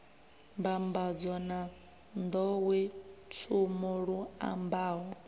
mbambadzo na nḓowetshumo lu ambaho